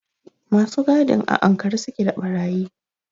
Masu gadin a ankare su ke da ɓarayi.